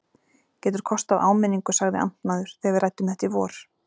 Getur kostað áminningu sagði amtmaður, þegar við ræddum þetta í vor.